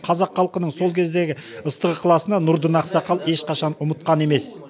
қазақ халқының сол кездегі ыстық ықыласын нұрдын ақсақал ешқашан ұмытқан емес